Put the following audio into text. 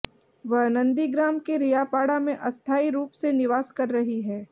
वह नंदीग्राम के रियापाड़ा में अस्थायी रूप से निवास कर रही हैं